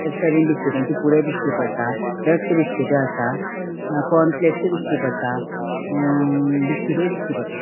एक सायडिन बिस्किटांचे पुढे दिश्टी पट्टा रस्क बिस्किट असा कॉर्नफ्लेक्स दिश्टी पट्टा अ बिस्किटी दिश्टी पट्टा.